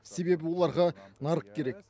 себебі оларға нарық керек